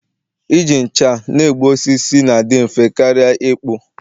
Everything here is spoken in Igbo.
Iji ncha na-egbu osisi na-adị ngwa karịa ịkpụ